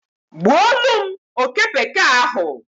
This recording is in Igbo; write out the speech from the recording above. gbuolụm oke bekee ahụ.